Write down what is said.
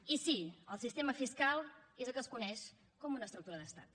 i sí el sistema fiscal és el que es coneix com una estructura d’estat